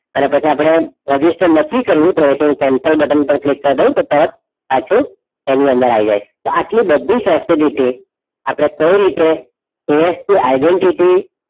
આના પછી અપડે register નથી કરવું cancel બટન પર click કાર દાવ તો તરત પાછું એની અંદર આવી જાય આટલી બધી અપડે કઈ રીતે ASPidentity